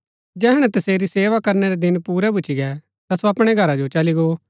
जैहणै तसेरी सेवा करनै रै दिन पूरै भुच्‍ची गै ता सो अपणै घरा जो चली गो